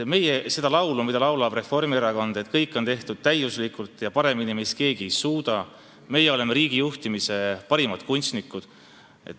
Meie ei laula seda laulu, mida laulab Reformierakond: kõik on tehtud täiuslikult ja paremini meist keegi ei suuda, meie oleme riigi juhtimise parimad kunstnikud ...